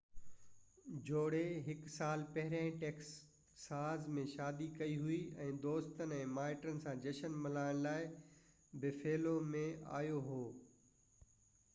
جوڙي هڪ سال پهريان ٽيڪساز ۾ شادي ڪئي هئي ۽ دوستن ۽ مائٽن سان جشن ملائڻ لاءِ بفيلو ۾ آيو هو